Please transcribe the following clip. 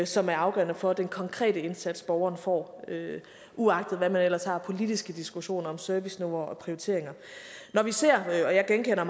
som er afgørende for den konkrete indsats borgeren får uagtet hvad man ellers har af politiske diskussioner om serviceniveauer og prioriteringer jeg genkender